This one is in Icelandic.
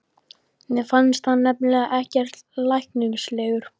Mér fannst hann nefnilega ekkert læknislegur.